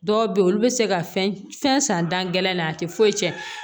Dɔw bɛ yen olu bɛ se ka fɛn san dan gɛlɛn in na a tɛ foyi tiɲɛ